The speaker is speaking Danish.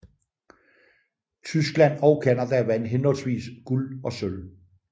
Tyskland og Canada vandt henholdsvis guld og sølv